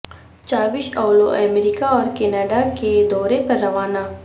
چاوش اولو امریکہ اور کینیڈا کے دورے پر روانہ